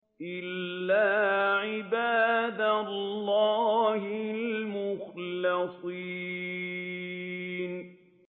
إِلَّا عِبَادَ اللَّهِ الْمُخْلَصِينَ